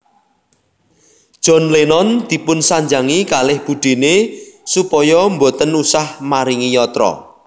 John Lennon dipunsanjangi kalih budene supaya mboten usah maringi yatra